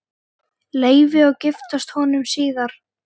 Leifi og giftast honum síðar.